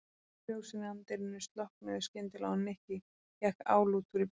Ljósin í anddyrinu slokknuðu skyndilega og Nikki gekk álútur í burtu.